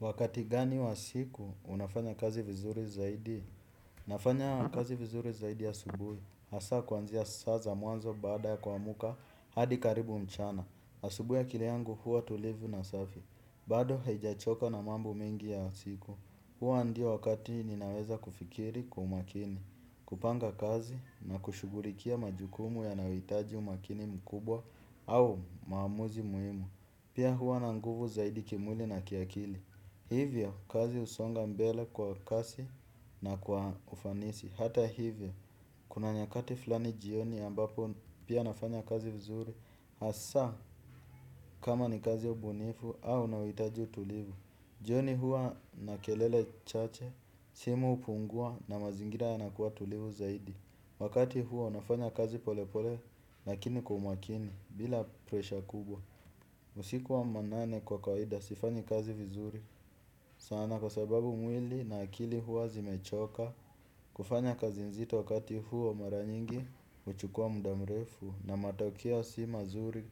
Wakati gani wa siku, unafanya kazi vizuri zaidi? Nafanya kazi vizuri zaidi ya asubuhi. Hasa kwanzia saa za mwanzo baada ya ku amka, hadi karibu mchana. Asubuhi akili yangu huwa tulivu na safi. Bado haijachoka na mambu mingi ya siku. Huwa ndio wakati ninaweza kufikiri kwa umakini. Kupanga kazi na kushughulikia majukumu yanayohitaji umakini mkubwa au maamuzi muhimu. Pia huwa na nguvu zaidi kimwili na kiakili. Hivyo, kazi husonga mbele kwa kasi na kwa ufanisi. Hata hivyo, kuna nyakati fulani jioni ambapo pia nafanya kazi vizuri. Hasa, kama ni kazi ya ubunifu au inayo hitaji utulivu. Jioni huwa na kelele chache, simu hupungua na mazingira yanakuwa tulivu zaidi. Wakati huo nafanya kazi polepole, lakini kwa umakini, bila presha kubwa. Usiku wa manane kwa kawaida, sifanyi kazi vizuri. Sana kwa sababu mwili na akili huwa zimechoka kufanya kazi nzito wakati huwa mara nyingi huchukua muda mrefu na matokeo si mazuri